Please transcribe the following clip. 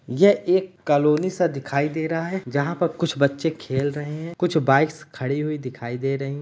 ये एक कलोनी सा दिखाई दे रहा है जहाँ पर कुछ बच्चे खेल रहे हैं। कुछ बाइक्स खड़ी हुई दिखाई दे रहीं --